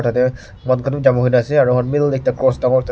aru mil ekta cross dangor ekta dikhi.